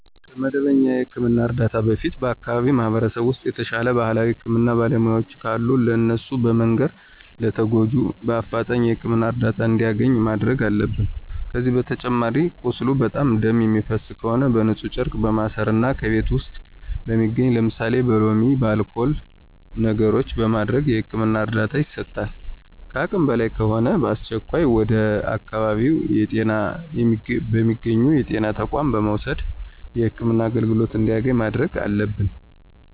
ከመደበኛ የህክምና እርዳታ በፊት በአከባቢው ማህበረሰብ ውስጥ የተሻለ የባህላዊ የህክምና ባለሙያዎች ካሉ ለእነሱ በመንገር ለተጎጁ በአፍጣኝ የህክምና እርዳታ እንዲያገኝ ማድረግ አለብን። ከዚህ በተጨማሪ ቁስሉ በጣም ደም የሚፈሰው ከሆነ በንፁህ ጨርቅ በማሰር እና ከቤት ውስጥ በሚገኙ ለምሳሌ በሎሚ፣ በአልኮል ነገሮችን በማድረግ የህክምና እርዳታ ይሰጣል። ከአቅም በላይ ከሆነ በአስቸኳይ ወደ አካባቢው በሚገኙ የጤና ተቋማት በመውሰድ የህክምና አገልግሎት እንዲያገኝ ማድረግ አለብን።